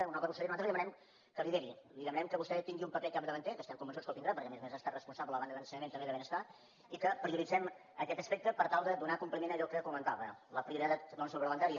honorable consellera nosaltres li demanem que lideri li demanem que vostè tingui un paper capdavanter que estem convençuts que el tindrà perquè a més a més ha estat responsable a banda d’ensenyament també de benestar i que prioritzem aquest aspecte per tal de donar compliment a allò que comentava la prioritat suplementària